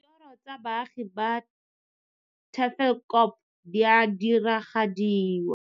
Ditoro tsa baagi ba Tafelkop di a diragadiwa.